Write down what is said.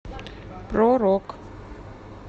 про рок